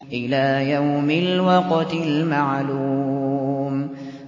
إِلَىٰ يَوْمِ الْوَقْتِ الْمَعْلُومِ